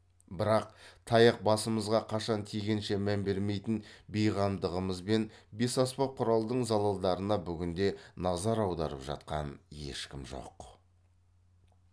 бірақ таяқ басымызға қашан тигенше мән бермейтін бейқамдығымызбен бесаспап құралдың залалдарына бүгінде назар аударып жатқан ешкім жоқ